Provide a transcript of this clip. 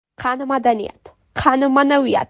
Qani madaniyat, qani ma’naviyat?!